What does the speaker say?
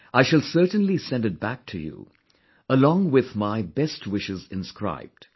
I shall certainly send it back to you, along with my best wishes inscribed